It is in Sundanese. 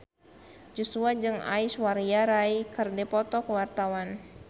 Joshua jeung Aishwarya Rai keur dipoto ku wartawan